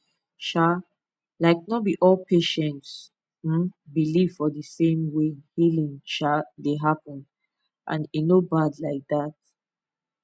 um like no be all patients um believe for the same way healing um dey happen and e no bad like that